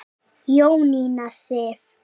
Jónína Sif.